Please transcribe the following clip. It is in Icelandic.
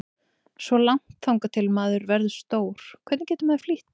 Svo langt þangað til maður verður stór, hvernig getur maður flýtt því?